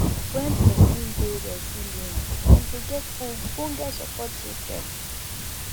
when person dey resilient dem dey get ogbonge support system